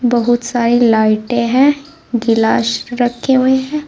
बहुत सारी लाइटे है गिलास रखे हुए है।